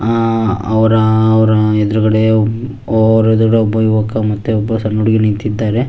ಹಾ ಅವರ ಅವರ ಎದುರುಗಡೆ ಒಬ್ಬ ಯುವಕ ಮತ್ತುಒಬ್ಬ ಸಣ್ಣ ಹುಡುಗಿ ನಿಂತಿದ್ದಾರೆ.